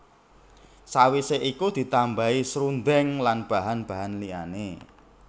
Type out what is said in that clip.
Sawise iku ditambahi srundeng lan bahan bahan liyane